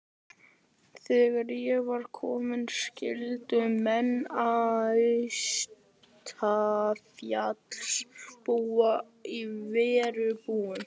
Þegar í verið kom skyldu menn austanfjalls búa í verbúðum.